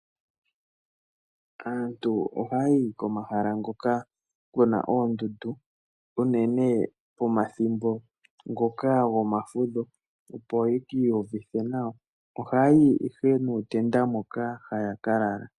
Aantu ohaayi komahala ngoka kuna oondudu, unene pomathimbo ngoka goma fudho opo ye kii uvithe nawa. Ohaayi ihe nuutenda moka haya kalala.